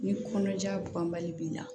Ni kɔnɔja banbali b'i la